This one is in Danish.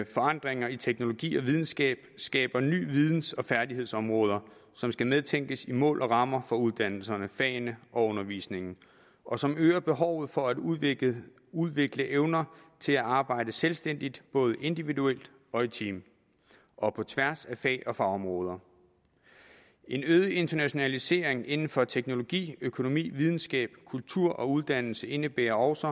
forandringer i teknologi og videnskab skaber nye videns og færdighedsområder som skal medtænkes i mål og rammer for uddannelserne fagene og undervisningen og som øger behovet for at udvikle udvikle evner til at arbejde selvstændigt både individuelt og i team og på tværs af fag og fagområder en øget internationalisering inden for teknologi økonomi videnskab kultur og uddannelse indebærer også